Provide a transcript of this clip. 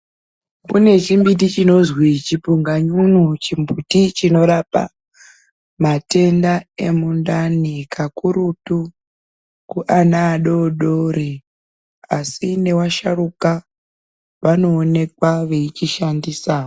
Kune chimbiti chinozi chipunganyunyu. Chimuti chinorapa matenda emundani kakurutu kuana adodori asi nevasharukwa vanoonekwa veichishandisawo.